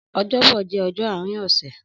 Ọjọbọ jẹ ọjọ aarin ọsẹ